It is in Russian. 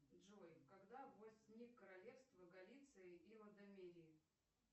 джой когда возник королевство галиции и лодомерии